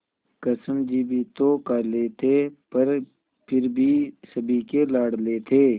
कृष्ण जी भी तो काले थे पर फिर भी सभी के लाडले थे